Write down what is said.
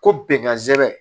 Ko bɛnkansɛnɛ